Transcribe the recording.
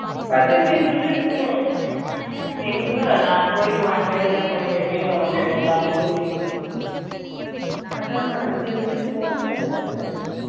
பசங்கள இங்க விட்டுட்டு போ எங்க நான் போயிட்டு one day ல போயிட்டு எப்படி வர முடியும் எல்லாரையும் கூட்டினு அது தான் மா இங்க விட்டுட்டு போங்கற பசங்களா